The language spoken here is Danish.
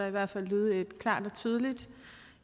i hvert fald lyde et klart og tydeligt